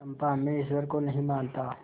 चंपा मैं ईश्वर को नहीं मानता